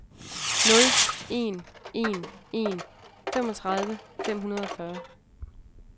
nul en en en femogtredive fem hundrede og fyrre